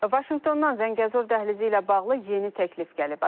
Vaşinqtondan Zəngəzur dəhlizi ilə bağlı yeni təklif gəlib.